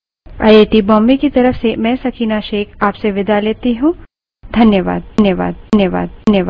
यह script देवेन्द्र कैरवान द्वारा अनुवादित है तथा आई आई टी बॉम्बे की तरफ से मैं सकीना अब आप से विदा लेती हूँ